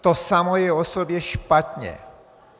To samo o sobě je špatně.